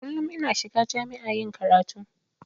Kullun ina shiga cikin jami'a yin karatu.